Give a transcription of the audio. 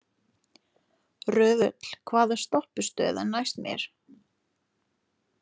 Röðull, hvaða stoppistöð er næst mér?